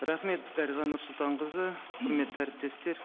рахмет дариға нұрсұлтанқызы құрметті әріптестер